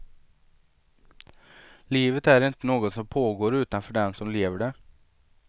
Livet är inte något som pågår utanför den som lever det.